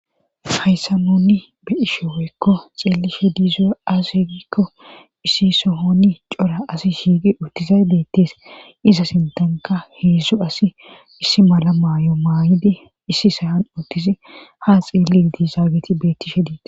hayssa nunni be ishe woykko xeelishe diizo as egikko issi sohoni cora asi shiigi uttizay beettes iza sintanka heedzsu asi issi mala maayo maayidi issi sayan uttisi ha xieli dizaageti bettishe dii